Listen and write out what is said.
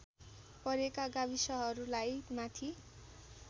परेका गाविसहरूलाई माथि